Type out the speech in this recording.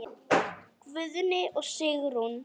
Guðni og Sigrún.